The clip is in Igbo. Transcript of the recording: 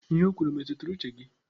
Ihe o kwuru e metụtara uche gị?